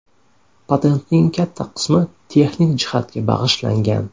Patentning katta qismi texnik jihatga bag‘ishlangan.